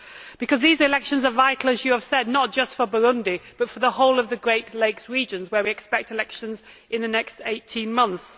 because these elections are vital, as you have said, not just for Burundi, but for the whole of the Great Lakes Region, where we expect elections in the next 18 months.